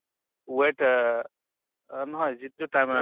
weight অ অ নহয় যিটো tri